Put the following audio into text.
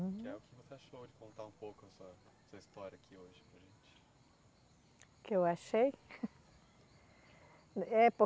Que é o que você achou de contar um pouco a sua, a sua história aqui hoje para a gente. O que achei? É